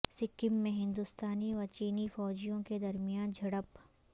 سکم میں ہندوستانی و چینی فوجیوں کے درمیان جھڑپ